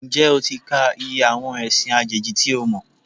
Ǹjẹ́ o ti ka iye àwọn ẹ̀sìn àjèjì tí o mọ̀?